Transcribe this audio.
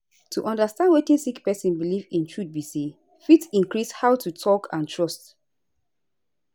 to understand wetin sick pesin belief in truth be say fit increase how to talk and trust